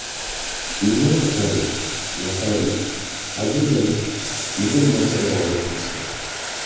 Imom Buxoriy, Nasoiy, Abu Dovud, Ibn Moja rivoyat qilishgan.